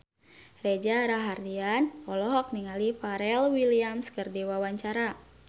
Reza Rahardian olohok ningali Pharrell Williams keur diwawancara